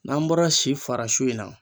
N'an bɔra si farasu in na